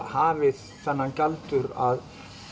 hafi þennan galdur að